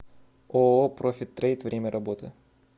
ооо профит трейд время работы